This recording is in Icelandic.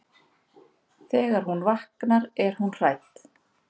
Þegar hún vaknar er hún hrædd.